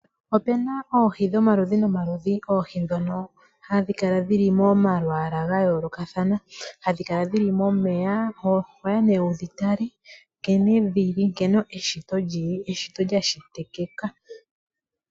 Opu na oohi dhomaludhi nomaludhi, oohi ndhono hadhi kala dhili momalwaala gayoolokathana hadhi kala dhili momeya. Ohoya nee wu dhi tale, nkene dhili, nkene eshito lyashitikika.